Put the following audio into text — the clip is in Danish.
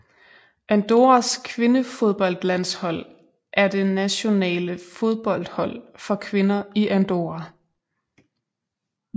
Andorras kvindefodboldlandshold er det nationale fodboldhold for kvinder i Andorra